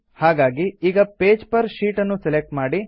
ಹಾಗಾಗಿ ಈಗ pages per sheet ನ್ನು ಸೆಲೆಕ್ಟ್ ಮಾಡಿ